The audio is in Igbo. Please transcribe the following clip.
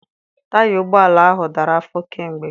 Taya ụgbọala ahụ dara afọ kamgbe.